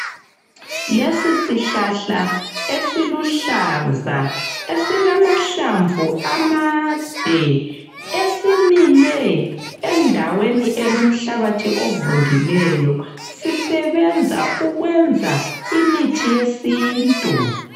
Lesi sihlahla esiluhlaza esilamahlamvu amade esimile endaweni elomhlabathi ovundileyo. Sisebenza ukwenza imithi yesintu.